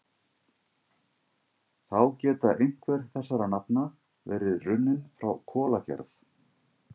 Þá geta einhver þessara nafna verið runnin frá kolagerð.